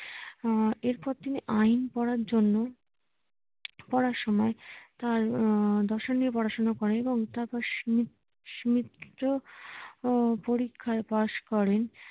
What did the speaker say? আহ এরপর তিনি আইন পড়ার জন্য পড়ার সময়ে তার আহ দর্শন নিয়ে পড়াশোনা করেন এবং তারপর সিমি সিমিত্র পরীক্ষায় পাস করেন